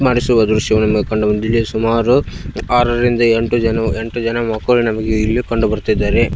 ಮಾಡಿಸುವ ದ್ರಶ್ಯವನ್ನು ಕಂಡುಬಂದಿದೆ ಸುಮಾರು ಆರರಿಂದ ಎಂಟು ಜನ ಎಂಟು ಜನ ಮಕ್ಕಳು ನಮಗೆ ಇಲ್ಲಿ ಕಂಡುಬರ್ತಾಯಿದ್ದಾರೆ.